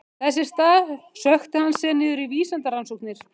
Þess í stað sökkti hann sér niður í vísindarannsóknir.